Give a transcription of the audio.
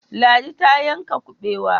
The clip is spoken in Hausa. Ladi ta yanka kubewa.